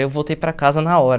Aí eu voltei para casa na hora.